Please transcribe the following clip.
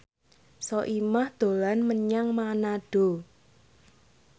Soimah dolan menyang Manado